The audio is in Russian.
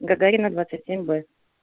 гагарина двадцать семь б